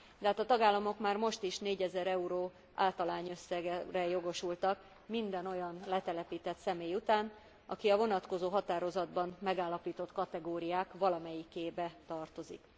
De hát a tagállamok már most is 4000 euró átalányösszegre jogosultak minden olyan letelepített személy után, aki a vonatkozó határozatban megállapított kategóriák valamelyikébe tartozik.